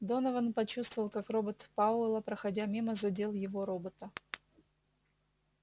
донован почувствовал как робот пауэлла проходя мимо задел его робота